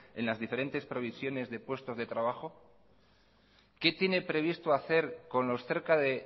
en las diferentes provisiones de puestos de trabajo qué tiene previsto hacer con los cerca de